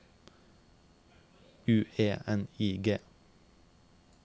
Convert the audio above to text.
U E N I G